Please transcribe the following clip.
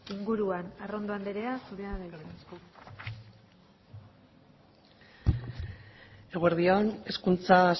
inguruan arrondo anderea zurea da hitza eguerdi on hezkuntza